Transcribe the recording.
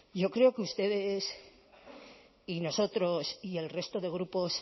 yo creo que ustedes y nosotros y el resto de grupos